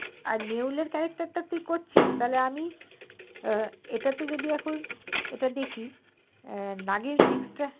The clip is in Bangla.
আর নেউরের character টা তুই করছি তালে আমি এটাতে যদি এখন দেখি এটা তে দেখি নাগিন six টা